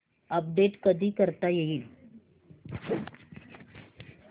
update कधी करता येईल